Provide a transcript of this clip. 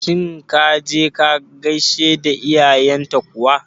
Shin ka je ka gaishe da iyayen ta kuwa?